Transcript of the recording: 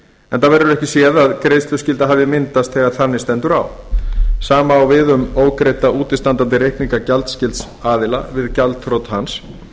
enda verður ekki séð að greiðsluskylda hafi myndast þegar þannig stendur á sama á við um ógreidda útistandandi reikninga gjaldskylds aðila við gjaldþrot hans